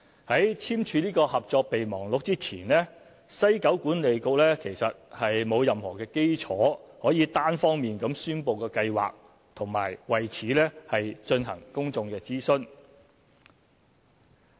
在簽署《合作備忘錄》前，西九管理局沒有任何基礎可以單方面宣布計劃和為此進行公眾諮詢。